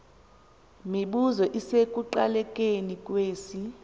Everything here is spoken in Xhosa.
mibuzo isekuqalekeni kwesi